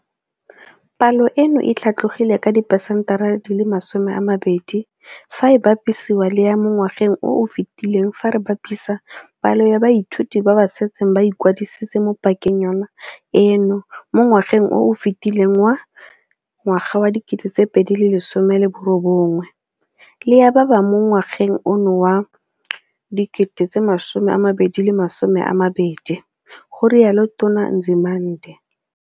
Palo eno e tlhatlogile ka 20 percent fa e bapisiwa le ya mo ngwageng o o fetileng fa re bapisa palo ya baithuti ba ba setseng ba ikwadisitse mo pakeng yona eno mo ngwageng o o fetileng wa 2019 le ya ba mo ngwageng ono wa 2020, ga rialo Tona Nzimande.